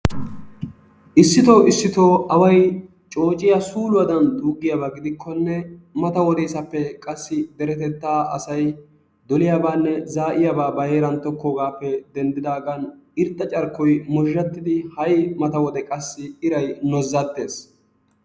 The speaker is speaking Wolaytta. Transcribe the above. Issito issito away coocciyaa suuluwaadan xuugiyaaga gidikkonne mata wodesaappe qaassi derettettaa asay dolliyaabanne zaa'iyaabaa ba heeran tokkoogappe denddidagan irxxa carkkoy mozhzhattidi ha'i mata wode qassi iray noozzattees.